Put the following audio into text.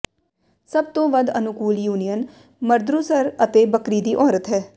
ਸਭ ਤੋਂ ਵੱਧ ਅਨੁਕੂਲ ਯੂਨੀਅਨ ਮਰਦਰੂਸਰ ਅਤੇ ਬੱਕਰੀ ਦੀ ਔਰਤ ਹੈ